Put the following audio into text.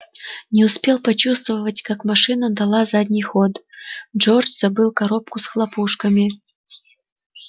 не успел расчувствоваться как машина дала задний ход джордж забыл коробку с хлопушками